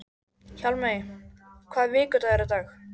Hjálmey, hvaða vikudagur er í dag?